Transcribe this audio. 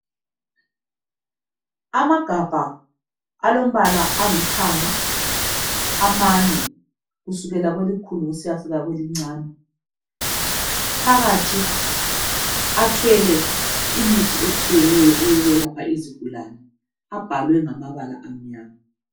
Amagabha alombala olithanga amade kusukela kwelikhulu kusiya kwelincane. Phakathi athwele imithi etshiyeneyo eyokwelapha izigulane abhalwe ngamabala amnyama.